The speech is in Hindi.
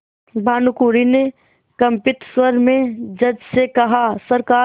भानुकुँवरि ने कंपित स्वर में जज से कहासरकार